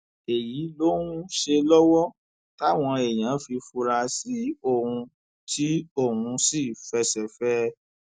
èyí lòun ń ṣe lọwọ táwọn èèyàn fi fura sí òun tí òun sì fẹsẹ fẹ ẹ